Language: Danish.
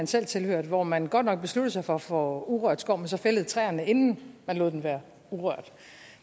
selv tilhørte hvor man godt nok besluttede sig for at få urørt skov men så fældede træerne inden man lod den være urørt